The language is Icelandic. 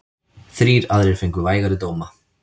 Þrír aðrir fengu vægari dóma.